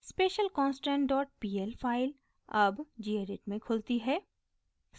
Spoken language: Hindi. specialconstant dot pl फाइल अब gedit में खुलती है